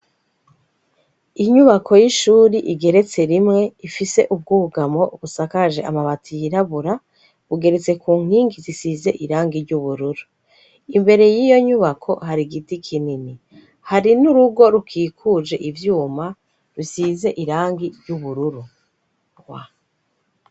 Inyubako y'ishuri igeretse rimwe ifise ubwugamo busakaje amabati yirabura bugeretse ku nkingi zisize irangi ry'ubururu, imbere y'iyo nyubako hari igiti kinini, hari n'urugo rukikuje ivyuma rusize irangi ry'ubururu.